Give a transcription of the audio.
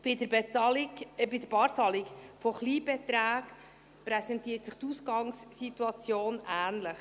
Bei der Barzahlung von Kleinbeträgen präsentiert sich die Ausgangssituation ähnlich.